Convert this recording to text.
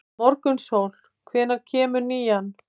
Morgunsól, hvenær kemur nían?